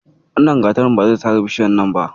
Wannan gatarin ba zai sare bishiyar nan ba.